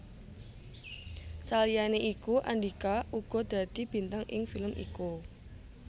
Saliyané iku Andhika uga dadi bintang ing film iku